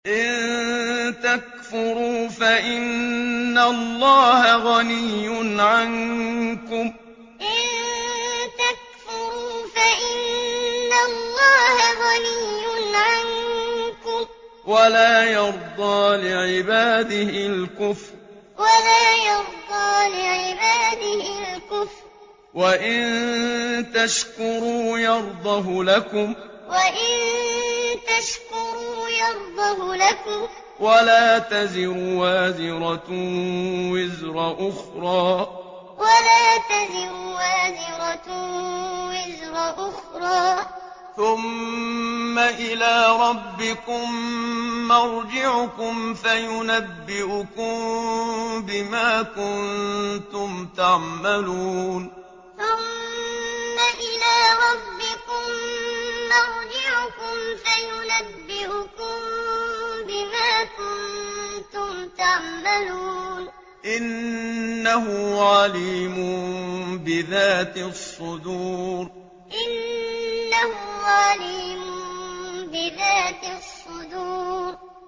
إِن تَكْفُرُوا فَإِنَّ اللَّهَ غَنِيٌّ عَنكُمْ ۖ وَلَا يَرْضَىٰ لِعِبَادِهِ الْكُفْرَ ۖ وَإِن تَشْكُرُوا يَرْضَهُ لَكُمْ ۗ وَلَا تَزِرُ وَازِرَةٌ وِزْرَ أُخْرَىٰ ۗ ثُمَّ إِلَىٰ رَبِّكُم مَّرْجِعُكُمْ فَيُنَبِّئُكُم بِمَا كُنتُمْ تَعْمَلُونَ ۚ إِنَّهُ عَلِيمٌ بِذَاتِ الصُّدُورِ إِن تَكْفُرُوا فَإِنَّ اللَّهَ غَنِيٌّ عَنكُمْ ۖ وَلَا يَرْضَىٰ لِعِبَادِهِ الْكُفْرَ ۖ وَإِن تَشْكُرُوا يَرْضَهُ لَكُمْ ۗ وَلَا تَزِرُ وَازِرَةٌ وِزْرَ أُخْرَىٰ ۗ ثُمَّ إِلَىٰ رَبِّكُم مَّرْجِعُكُمْ فَيُنَبِّئُكُم بِمَا كُنتُمْ تَعْمَلُونَ ۚ إِنَّهُ عَلِيمٌ بِذَاتِ الصُّدُورِ